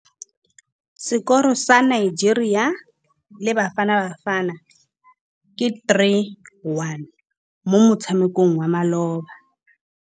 Sekôrô sa Nigeria le Bafanabafana ke 3-1 mo motshamekong wa malôba.